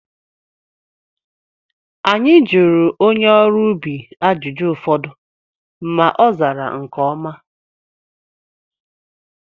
Anyị jụrụ onye ọrụ ubi ajụjụ ụfọdụ ma ozara nke ọma